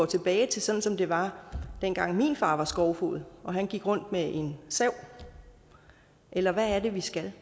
tilbage til sådan som det var dengang min far var skovfoged og gik rundt med en sav eller hvad er det vi skal